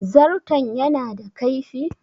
Zarton ya na da kaifi?